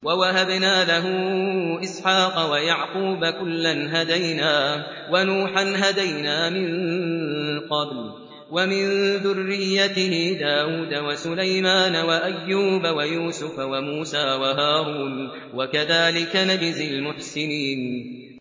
وَوَهَبْنَا لَهُ إِسْحَاقَ وَيَعْقُوبَ ۚ كُلًّا هَدَيْنَا ۚ وَنُوحًا هَدَيْنَا مِن قَبْلُ ۖ وَمِن ذُرِّيَّتِهِ دَاوُودَ وَسُلَيْمَانَ وَأَيُّوبَ وَيُوسُفَ وَمُوسَىٰ وَهَارُونَ ۚ وَكَذَٰلِكَ نَجْزِي الْمُحْسِنِينَ